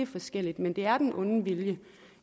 forskelligt men det er den onde vilje